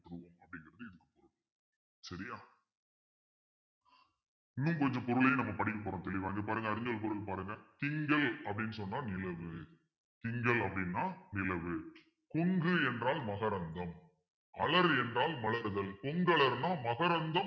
இன்னும் கொஞ்சம் பொருளையும் நம்ம படிக்கப் போறோம் தெளிவா இங்க பாருங்க அறிஞர்கள் கூறு பாருங்க திங்கள் அப்பிடின்னு சொன்னா நிலவு திங்கள் அப்பிடின்னா நிலவு கொங்கு என்றால் மகரந்தம் அலறு என்றால் மலருதல் புங்களர்ன்னா மகரந்தம்